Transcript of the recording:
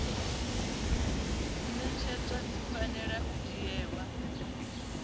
ṅetshedzwa dzi fanela u dzhielwa